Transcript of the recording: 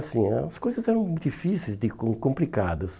assim As coisas eram difíceis de e complicadas.